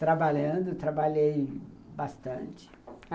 Trabalhando, trabalhei bastante.